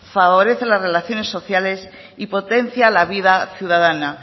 favorece las relaciones sociales y potencia la vida ciudadana